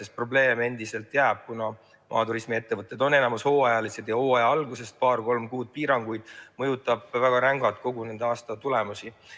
Sest probleem endiselt jääb, kuna maaturismi ettevõtted on valdavalt hooajalised ja hooaja alguses paar-kolm kuud piiranguid mõjutab väga rängalt nende kogu aasta tulemusi.